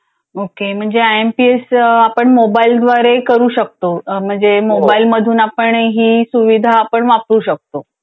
ओ के म्हणजे M P S एस आपण मोबाईलद्वारे करू शकतो म्हणजे मोबाईल मधून आपण ही सुविधा आपण वापरू शकतो.